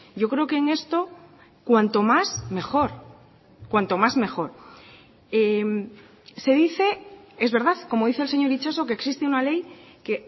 yo creo que en esto cuanto más mejor cuanto más mejor se dice es verdad como dice el señor itxaso que existe una ley que